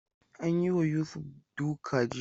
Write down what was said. An yi wa Yusuf duka jiya.